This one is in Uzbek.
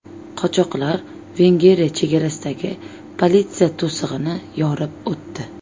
Qochoqlar Vengriya chegarasidagi politsiya to‘sig‘ini yorib o‘tdi.